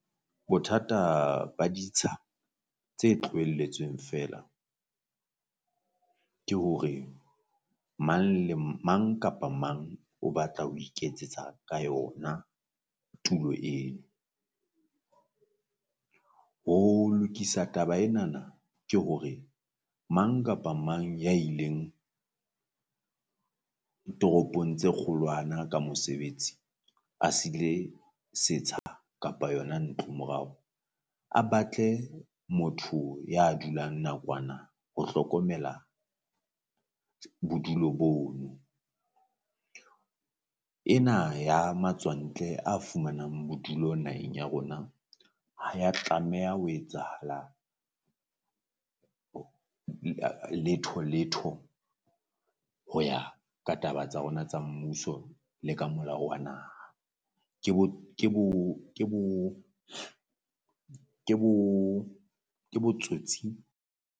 Bothata ba ditsha tse tlohelletsweng feela ke hore mang le mang kapa mang o batla ho iketsetsa ka yona tulo eno. Ho lokisa taba enana ke hore mang kapa mang ya ileng toropong tse kgolwana ka mosebetsi a sile setsha kapa yona ntloo morao, a batle motho ya dulang nakwana ho hlokomela bodulo bono. Ena ya matswantle a fumanang bodulo naheng ya rona ha ya tlameha ho etsahala letho letho ho ya ka taba tsa rona tsa mmuso le ka molao wa naha ke bo ke bo ke bo ke bo ke botsotsi.